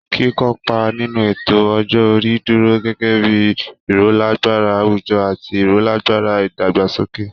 Kíkópa nínú ètò ọjọ́ orí dúró gẹ́gẹ́ bí i irolagbara àwùjọ àti irolagbara ìdàgbàsókè